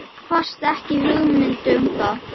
Ég kvaðst ekki hafa hugmynd um það.